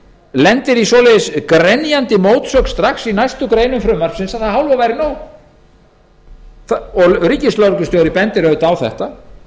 lendir til dæmis í svo grenjandi mótsögn í næstu greinum frumvarpsins að það hálfa væri nóg ríkislögreglustjóri bendir á þetta